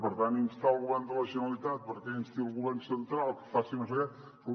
per tant instar el go·vern de la generalitat perquè insti el govern central que faci no sé què